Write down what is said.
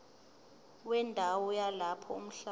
wendawo yalapho umhlaba